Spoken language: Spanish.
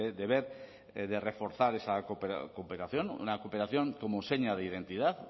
deber de reforzar esa cooperación una cooperación como seña de identidad